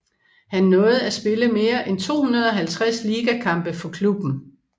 Han nåede at spille mere end 250 ligakampe for klubben